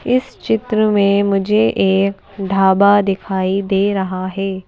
इस चित्र में मुझे एक ढाबा दिखाई दे रहा है।